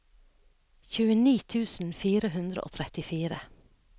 tjueni tusen fire hundre og trettifire